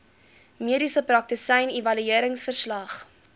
mediese praktisyn evalueringsverslag